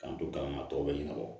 K'an to kalama tɔw bɛ ɲɛnabɔ